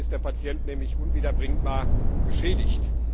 Dann ist der Patient nämlich unwiederbringlich geschädigt.